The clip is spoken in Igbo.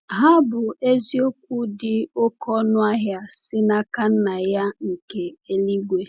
Ha bụ eziokwu dị oké ọnụ ahịa si n’aka Nna ya nke eluigwe!